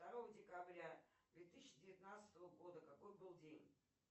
второго декабря две тысячи девятнадцатого года какой был день